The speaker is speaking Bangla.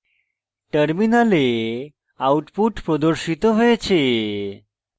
terminal output প্রদর্শিত হয়েছে